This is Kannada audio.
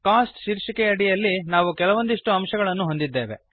ಕೋಸ್ಟ್ ಶೀರ್ಷಿಕೆಯ ಅಡಿಯಲ್ಲಿ ನಾವು ಕೆಲವೊಂದಿಷ್ಟು ಅಂಶಗಳನ್ನು ಹೊಂದಿದ್ದೇವೆ